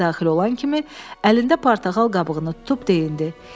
Otağa daxil olan kimi əlində portağal qabığını tutub deyindi: